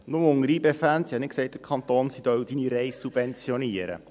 Nur unter YB-Fans: Ich habe nicht gesagt, der Kanton Bern solle die Reise subventionieren.